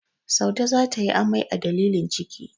Saude za ta yi amai a dalilin ciki.